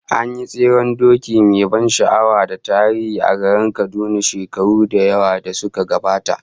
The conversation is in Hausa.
An yi tseren doki mai ban sha'awa da tarihi a garin Kaduna shekaru da yawa da suka gabata